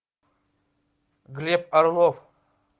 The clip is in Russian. глеб орлов